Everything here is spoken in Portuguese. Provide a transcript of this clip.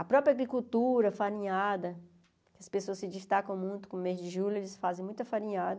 A própria agricultura, farinhada, as pessoas se destacam muito com o mês de julho, eles fazem muita farinhada.